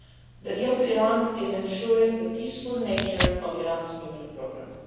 The deal with Iran is ensuring the peaceful nature of Iran's nuclear programme.